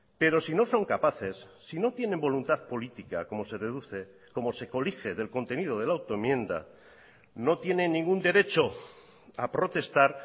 pero si no son capaces si no tienen voluntad política como se deduce como se colige del contenido de la autoenmienda no tienen ningún derecho a protestar